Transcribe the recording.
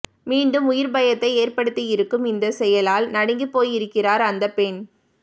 மீண்டும் உயிர் பயத்தை ஏற்படுத்தியிருக்கும் இந்த செயலால் நடுங்கிப்போயிருக்கிறார் அந்த பெண்